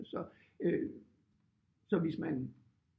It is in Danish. Så øh så hvis man